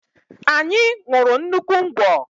Anyị ṅurụ nnukwu ngwọ